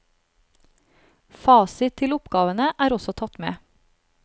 Fasit til oppgavene er også tatt med.